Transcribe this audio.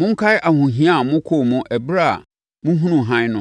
Monkae ahohia a mokɔɔ mu ɛberɛ a mohunuu hann no,